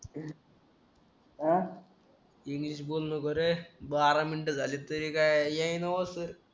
अं English बोललं बरं बारा मिनिटं झाली तरी काय येईना ओ सर